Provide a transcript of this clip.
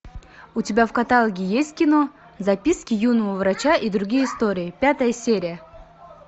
у тебя в каталоге есть кино записки юного врача и другие истории пятая серия